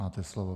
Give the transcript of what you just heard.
Máte slovo.